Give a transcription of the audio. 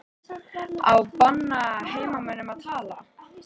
Á að banna heimamönnum að tala?